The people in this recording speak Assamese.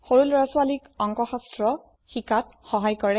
সৰু লৰা ছোৱালীক অংকশাস্ত্ৰ শিকাত সহায় কৰে